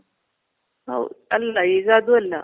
ಹೌದ್ ಅಲ್ಲ, ಈಗ ಅದು ಅಲ್ಲ.